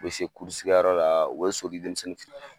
U be se kɛyɔrɔ la u be so di denmisɛnnin fit